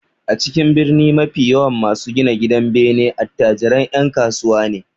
A cikin birni mafi yawan masu gina gidanbene attajiran 'yan kasuwa ne